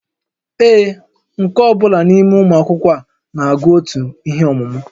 Ee, nke ọ bụla n'ime ụmụ akwụkwọ a na-agụ otu ihe ọmụmụ